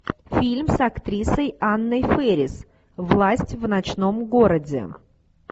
фильм с актрисой анной фэрис власть в ночном городе